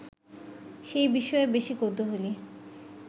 সেই বিষয়ে বেশি কৌতূহলী